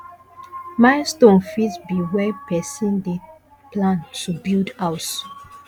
milestone fit be when person dey plan to build house